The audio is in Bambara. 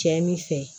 Cɛ min fɛ